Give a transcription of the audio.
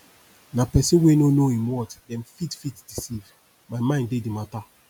na pesin wey no know im worth dem fit fit deceive my mind dey di mata